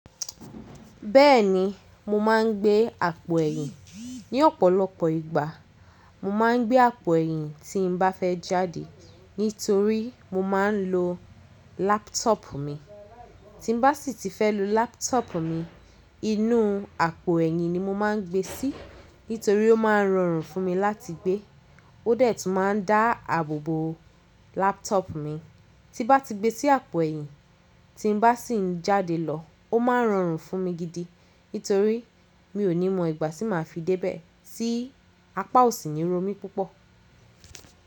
Bẹ́ẹ̀ni, mo máa ń gbé àpò ẹ̀yìn. Ni ọ̀pọ̀lọpọ̀ ìgbà, mo máa ń gbé àpò ẹ̀yìn tí n bá fẹ́ jáde, nítorí mo máa ń lo laptọọpu mi. Tí n bá sì ti fẹ́ lo laptọọpu mi, inú àpò ẹ̀yìn ni mo máa ń gbe sí, nítorí ó máa ń rọrùn fún mi láti gbé. Ó dẹ̀ tún máa ń dáàbòbò laptọọpu mi. Tí n bá ti gbe sí àpò ẹ̀yìn, tí n bá sì ń jáde lọ, ó máa ń rọrùn fún mi gidi, nítorí mi ò ní mọ ìgbà tí màá fi débẹ̀ sí apá òsì ni ro mi púpọ̀